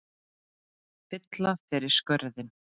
Fylla þeir skörðin?